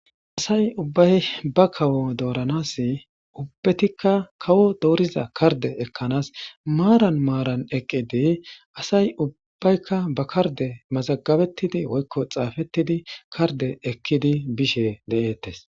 Asay ubbay ba kawo dooranas ubbetikka kawo dooriza karde ekkanas maaran maaran eqqidi asay ubbaykka ba karde mazagabettidi woykko xaafettidi karde ekkidi bishe de7eettes